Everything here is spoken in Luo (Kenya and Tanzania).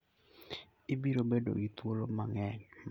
Ibiro bedo gi thuolo mang'eny mag neno gik mabeyo ma Nyasaye nochueyo.